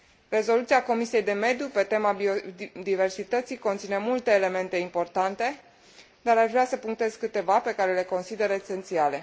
Rezoluția Comisiei de mediu pe tema biodiversității conține multe elemente importante, dar aș vrea să punctez câteva, pe care le consider esențiale.